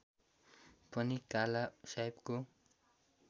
पनि काला साहेबको